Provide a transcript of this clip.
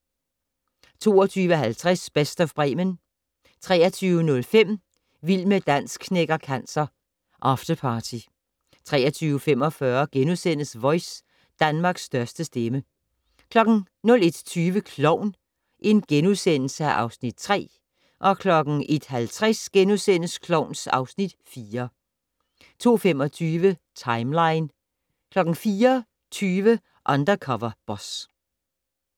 22:50: Best of Bremen 23:05: Vild med dans knækker cancer - afterparty 23:45: Voice - Danmarks største stemme * 01:20: Klovn (Afs. 3)* 01:50: Klovn (Afs. 4)* 02:25: Timeline 04:20: Undercover Boss